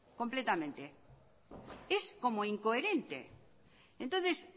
completamente es como incoherente entonces